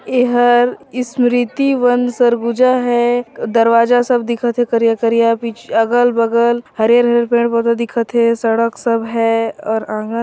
एहा स्मृति वन सरगुना है एक दरवाजा सब दिखत है करिया-करिया पिछ अगल-बगल हरियर-हरियर पेड़-पौधा दिखत है सड़क सब है और आँगन--